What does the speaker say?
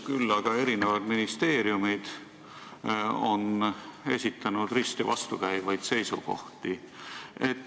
Küll aga on ministeeriumid esitanud risti vastukäivaid seisukohti.